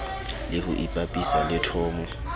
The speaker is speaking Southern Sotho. le ho ipapisa le thomo